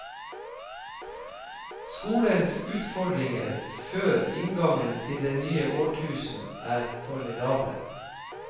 Skolens utfordringer før inngangen til det nye årtusen er formidable.